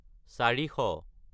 চাৰিশ